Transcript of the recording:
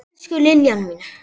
Elsku Liljan mín.